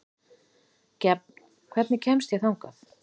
Gefn, hvernig kemst ég þangað?